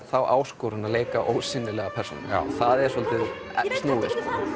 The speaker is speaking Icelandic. þá áskorun að leika ósýnilega persónu það er svolítið snúið